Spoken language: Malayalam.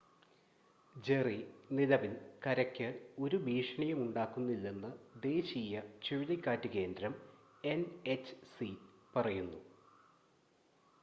ജെറി നിലവിൽ കരയ്ക്ക് ഒരു ഭീഷണിയും ഉണ്ടാക്കുന്നില്ലെന്ന് ദേശീയ ചുഴലിക്കാറ്റ് കേന്ദ്രം എൻ‌എച്ച്‌സി പറയുന്നു